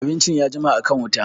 Abincin ya jima a kan wuta